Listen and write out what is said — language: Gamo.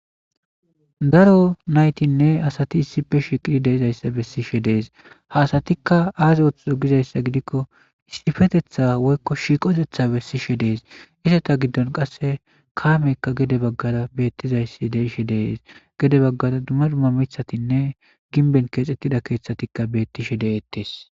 daro naytinne asati issife shiiqidi deizayssa bessishe dees ha asatikka aazi oththizo gizayssa gidikko istifetetha woykko shiiqotetha bessishe dees iseta giddon qasse kaameykka gede baggada beettizayssi deishe dees gede baggada dumma dumma mithatinne ginben keexxettida keeththatikka bettishe deettes